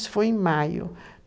Isso foi em maio.